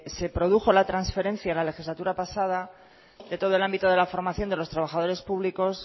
se produjo la transferencia la legislatura pasada de todo el ámbito de la formación de los trabajadores públicos